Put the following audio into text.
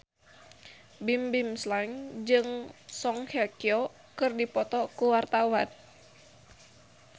Bimbim Slank jeung Song Hye Kyo keur dipoto ku wartawan